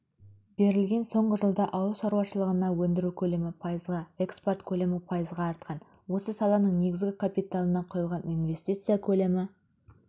берілген соңғы жылда ауыл шаруашылығында өндіру көлемі пайызға экспорт көлемі пайызға артқан осы саланың негізгі капиталына құйылған инвестиция көлемі